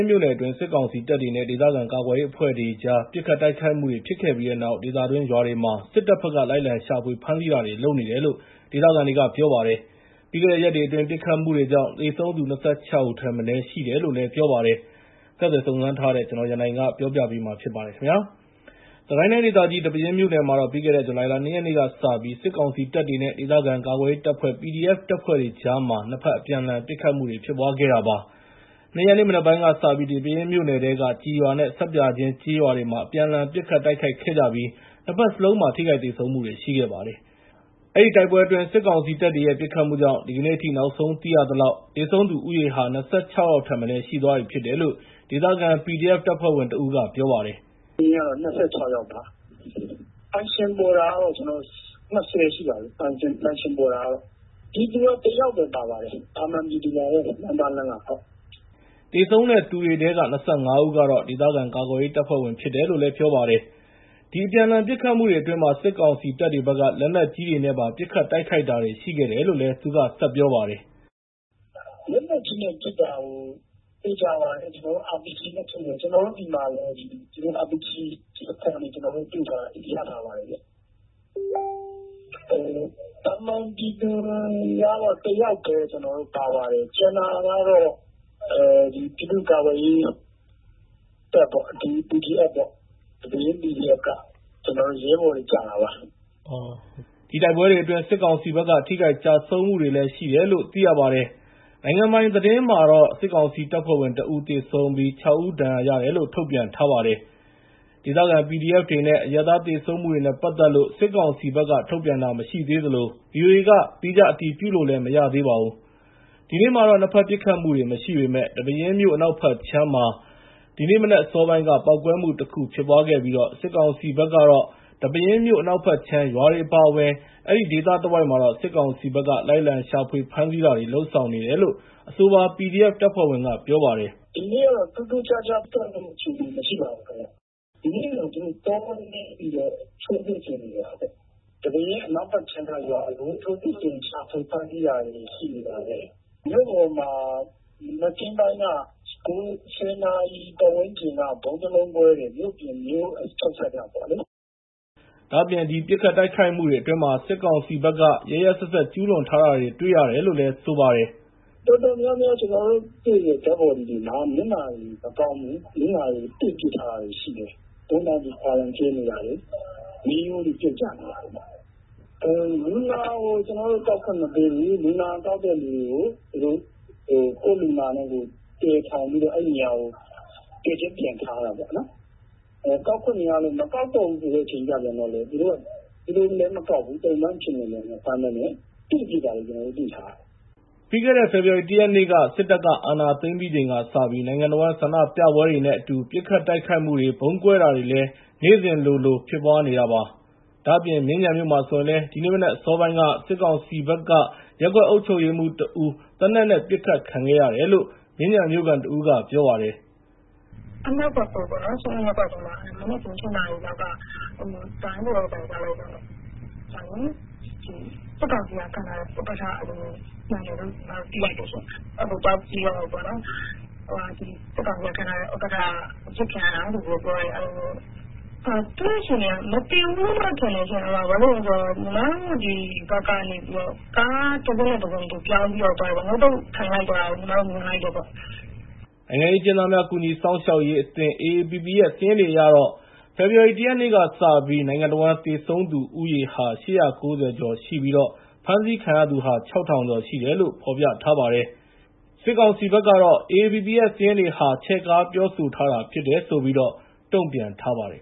်းမြို့နယ်အတွင်း စစ်ကောင်စီတပ်တွေနဲ့ ဒေသခံ ကာကွယ်ရေးအဖွဲ့တွေကြား ပစ်ခတ်တိုက်ခိုက်မှုတွေ ဖြစ်ခဲ့ပြီးနောက် ဒေသတွင်း ရွာတွေမှာ စစ်တပ်ဘက်က လိုက်လံရှာဖွေ ဖမ်းဆီးတာတွေ လုပ်နေတယ်လို့ ဒေသခံတွေက ပြောပါတယ်။ ပြီးခဲ့တဲ့ရက်အတွင်း ပစ်ခတ်မှုကြောင့် သေဆုံးသူ ၂၆ ဦးထက်မနည်း ရှိခဲ့တယ်လို့လည်း ပြောပါတယ်။ ဆက်သွယ်စုံစမ်းထားတဲ့ ကိုရန်နိုင်က တင်ပြပေးထားပါတယ်။ စစ်ကိုင်းတိုင်းဒေသကြီး ဒီပဲယင်းမြို့နယ်မှာတော့ ပြီးခဲ့တဲ့ ဇူလိုင်လ ၂ ရက်နေ့ကစပြီး စစ်ကောင်စီတပ်တွေနဲ့ ဒေသခံ ကာကွယ်ရေးတပ်ဖွဲ့ တပ်ဖွဲ့တွေကြား နှစ်ဖက် အပြန်အလှန် ပစ်ခတ်မှုတွေ ဖြစ်ပွားခဲ့တာပါ။ ၂ ရက်နေ့ မနက်ပိုင်းကစပြီး ဒီပဲယင်းမြို့နယ်ထဲက ကျည်ရွာနဲ့ ဆပ်ပြာကျင်း ကျေးရွာတွေမှာ အပြန်အလှန် ပစ်ခတ်တိုက်ခိုက်ခဲ့ကြပြီး နှစ်ဖက်စလုံးမှာ ထိခိုက်သေဆုံးမှုတွေ ရှိခဲ့ပါတယ်။ အဲဒီတိုက်ပွဲအတွင်း စစ်ကောင်စီတပ်တွေရဲ့ ပစ်ခတ်မှုကြောင့် ဒီကနေ့အထိ နောက်ဆုံးသိရသလောက် သေဆုံးသူဦးရေဟာ ၂၆ ယောက်ထက်မနည်း ရှိသွားပြီဖြစ်တယ်လို့ ဒေသခံ PDF တပ်ဖွဲ့ဝင်တဦးက ပြောပါတယ်။ “သေဆုံးသူက ၂၆ ယောက်ပါ။ ပိုင်ရှင်ပေါ်တာကတော့ ၂၀ ရှိပါပြီ။ ပြည်သူက တယောက်ပဲ ပါပါတယ်။ သာမန် လမ်းသွားလမ်းလာ ပြည်သူပါပဲ။” သေဆုံးတဲ့သူတွေထဲက ၂၅ ဦးကတော့ ဒေသခံ ကာကွယ်ရေးတပ်ဖွဲ့ဝင်တွေ ဖြစ်တယ်လို့ ပြောပါတယ်။ ဒီ အပြန်အလှန် ပစ်ခတ်မှုတွေအတွင်း စစ်ကောင်စီတပ်တွေဘက်က လက်နက်ကြီးတွေနဲ့ပါ ပစ်ခတ်တိုက်ခိုက်တာတွေ ရှိတယ်လို့လည်း သူကပြောပါတယ်။ “လက်နက်ကြီးနဲ့ပစ်တာ သေချာပါတယ်။ RPG နဲ့ပစ်တာ၊ ကျနော်တို့ဆီမှာလည်း RPG ကျည်အခွံတွေ ရထားပါတယ်ခင်ဗျ။ သာမန်ပြည်သူကတော့ တယောက်ပဲ ပါပါတယ်။ ကျန်တာကတော့ ပြည်သူ့ကာကွယ်ရေးတပ်၊ PDF ပေါ့၊ ဒီပဲယင်း PDF က ကျနော်တို့ ရဲဘော်တွေ ကျတာပါ။” ဒီတိုက်ပွဲတွေအတွင်း စစ်ကောင်စီဘက်က ထိခိုက်ကျဆုံးမှုတွေလည်း ရှိတယ်လို့ သိရပါတယ်။ နိုင်ငံပိုင်သတင်းမှာတော့ စစ်ကောင်စီတပ်ဖွဲ့ဝင် ၁ ဦး သေဆုံးပြီး ၆ ဦး ဒဏ်ရာရတယ်လို့ ထုတ်ပြန်ထားပါတယ်။ ဒေသခံ PDF တွေနဲ့ အရပ်သား သေဆုံးမှုတွေနဲ့ ပတ်သက်လို့ စစ်ကောင်စီက ထုတ်ပြန်တာ မရှိသေးသလို ဗွီအိုအေက သီးခြားအတည်ပြုလို့လည်း မရသေးပါဘူး။ ဒီနေ့မှာတော့ နှစ်ဖက် ပစ်ခတ်မှုတွေ မရှိပေမယ့် ဒီပဲယင်းမြို့ အနောက်ဘက်ခြမ်းမှာ ဒီနေ့မနက်အစောပိုင်းက ပေါက်ကွဲမှုတခု ဖြစ်ပွားခဲ့ပြီး စစ်ကောင်စီဘက်ကတော့ ဒီပဲယင်းမြို့ အနောက်ဘက်ခြမ်း ရွာတွေ အပါအဝင် အဲဒီဒေသတဝိုက်မှာတော့ စစ်ကောင်စီဘက်က လိုက်လံရှာဖွေ ဖမ်းဆီးတာတွေ လုပ်ဆောင်နေတယ်လို့လည်း အဆိုပါ PDF တပ်ဖွဲ့ဝင်က ပြောပါတယ်။ “ဒီနေ့ကတော့ ထူးထူးခြားခြား ပစ်ခတ်မှုအခြေအနေ မရှိပါဘူး။ ဒီနေ့ကတော့ တောနင်းပြီးတော့ ရှာနေတာပဲ။ ဒီပဲယင်း အနောက်ဘက်ခြမ်းက ရွာတွေမှာ ရှာဖွေဖမ်းဆီးတာတွေ ရှိနေပါတယ်။ မြို့ပေါ်မှာတော့ မနက်ခင်း ၁၀ နာရီ ပတ်ဝန်းကျင်က ဗုံးတလုံးကွဲတယ်။ မြို့ပြင် မြို့ချုံစပ်မှာ။” ဒါ့အပြင် ဒီပစ်ခတ်တိုက်ခိုက်မှုတွေအတွင်း စစ်ကောင်စီဘက်က ရက်ရက်စက်စက် ကျူးလွန်ထားတာတွေကိုလည်း တွေ့ရတယ်လို့ သူက ပြောပါတယ်။ “တော်တော်များများ ကျနော်တို့တွေတဲ့ ရုပ်အလောင်း တွေမှာ မျက်နှာတွေ မကောင်းဘူး။ မျက်နှာတွေကို တေ့ပစ်ထားတာတွေ ရှိတယ်။ ဦးနှောက်တွေ ဖွာလန်ကျဲနေတာတွေ၊ မေးရိုးတွေ ပြုတ်ကျနေတာတွေ၊ လူနာကို ကျနော်တို့ ကောက်ခွင့်မပေးဘူး၊ လူနာကောက်တဲ့သူတွေကို ကိုယ့်လူနာနဲ့ကိုယ် တည်ထိုင်ပြီးတော့ အဲဒီနေရာကို တည်ကျင်းပြန်ထားတာပေါ့နော်။ ကောက်ခွင့်မရလို့ မကောက်တော့ဘူးဆိုတဲ့ အချိန်ကျပြန်တော့လည်း သူတို့လည်း မကောက်ဘူး။ သုံ့ပန်းအဖြစ်နဲ့လည်း မဖမ်းဘဲနဲ့ တေ့ပစ်တာတွေ ကျနော်တို့ တွေ့ထားရတယ်။” ပြီးခဲ့တဲ့ ဖေဖော်ဝါရီ ၁ ရက်နေ့ စစ်တပ်က အာဏာသိမ်းပြီးချိန်ကစပြီး နိုင်ငံတဝန်း ဆန္ဒပြပွဲတွေနဲ့အတူ ပစ်ခတ်တိုက်ခိုက်မှုတွေ၊ ဗုံးကွဲတာတွေလည်း နေ့စဉ်လိုလို ဖြစ်ပွားနေတာပါ။ ဒါ့အပြင် မြင်းခြံမြို့မှာဆိုရင်လည်း ဒီနေ့မနက်အစောပိုင်းက စစ်ကောင်စီဘက်က ရပ်ကွက်အုပ်ချုပ်ရေးမှူးတဦး သေနတ်နဲ့ ပစ်ခံခဲ့ရတယ်လို့ မြင်းခြံမြို့ခံတဦးက ပြောပါတယ်။ “အမှတ် ၁၉ စွန်းလွန်ရပ်ကွက်ထဲမှာ မနက်ခင်း ၈ နာရီလောက်က “ဒိုင်း” ဆိုတဲ့အသံ ကြားလိုက်တော့ စစ်ကောင်စီက ခန့်ထားတဲ့ ရပ်ကွက်ဥက္ကဋ္ဌ မှန်တယ်လို့ သိရတယ်ရှင့်။ အဲဒီဘက်ကို သွားကြည့်တော့ စစ်ကောင်စီက ခန့်ထားတဲ့ ဥက္ကဋ္ဌ အပစ်ခံရတာလို့ ပြောတယ်။ သူ့အခြေအနေက မသေဘူးလို့တော့ ထင်တယ်။ ဘာလို့လဲဆိုတော့ ညီမတို့ ဒီဘက်ကနေပြီးတော့ ကားတစင်းနဲ့တစင်း သူပြောင်းပြီးတော့သွားတယ်။ ငုတ်တုတ်ထိုင်လိုက်သွားတာ မြင်လိုက်တယ်။” နိုင်ငံရေးအကျဉ်းသားများ ကူညီစောင့်ရှောက်ရေးအသင်း ရဲ့ စာရင်းတွေအရတော့ ဖေဖော်ဝါရီ ၁ ရက်နေ့ကစပြီး သေဆုံးသူဦးရေ ၈၉၀ ကျော်ရှိပြီး ဖမ်းဆီးခံရသူ ၆,၀၀၀ ကျော်ရှိတယ်လို့ ဖော်ပြပါတယ်။ AAPP ရဲ့ စာရင်းတွေဟာ ချဲ့ကားပြောဆိုထားတာ ဖြစ်တယ်လို့ စစ်ကောင်စီဘက်က တုံ့ပြန်ထားပါတယ်